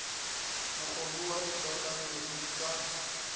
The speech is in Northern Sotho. mokgobo wa dikakanyo di ka